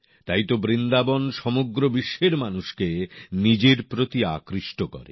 তাইতো বৃন্দাবন সমগ্র বিশ্বের মানুষকে নিজের প্রতি আকৃষ্ট করে